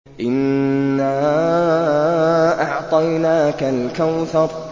إِنَّا أَعْطَيْنَاكَ الْكَوْثَرَ